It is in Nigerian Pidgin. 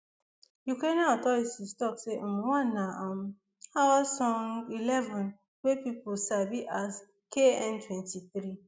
ukrainian authorities tok say um one na um eleven wey pipo sabi as kn twenty-three